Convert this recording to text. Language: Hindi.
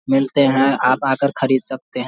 मिलते हैं आप आकर खरीद सकते हैं।